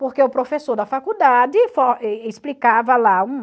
Porque o professor da faculdade e explicava lá um...